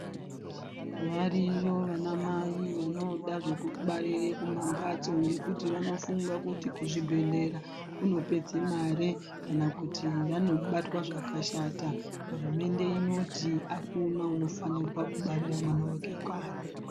Variyo vanamai vanoda zvekubarira kumambatso ngekuti vanofunga kuti kuzvibhehlera kunopedze mare kana kuti vanobatwa zvakashta ,hurumente inoti akuna unofanirwa kubarira mwana wake kanyi